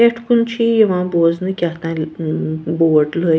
.پٮ۪ٹھ کُن چھ یہِ یِوان بوزنہٕ کہتٲنۍل اا بورڈ لٲ